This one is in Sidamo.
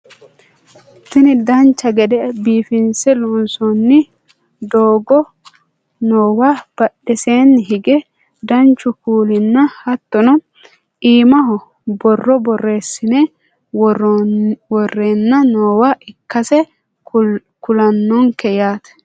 tini dancha gede biifinse loonsoonni doogo noowa badheseenni hige danchu kuulinna hattono iimaho borro borreessine worreenna noowa ikkasi kulannonke yaate